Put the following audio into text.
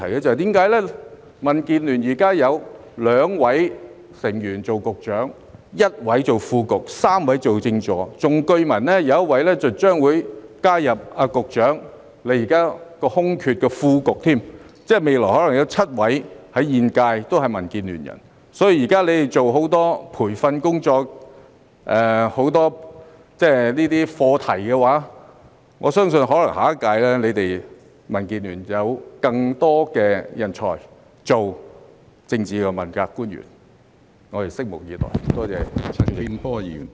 因為民建聯現時有2位成員擔任局長、1位擔任副局長、3位當政治助理，更據聞將有1位加入局長的政策局填補副局長的空缺，即現屆政府未來可能有7位問責官員來自民建聯，所以他們現正進行大量培訓工作、探討很多相關課題，我相信下一屆可能會有更多來自民建聯的人才當政治問責官員，我們拭目以待。